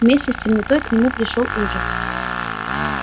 вместе с темнотой к нему пришёл ужас